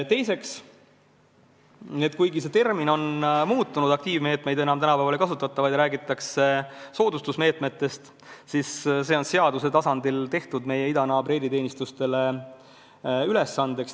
Teiseks, see termin on küll muutunud ja aktiivmeetmetest tänapäeval ei räägita, räägitakse soodustavatest meetmetest, aga selline tegevus on seaduse tasandil tehtud meie idanaabri eriteenistuste ülesandeks.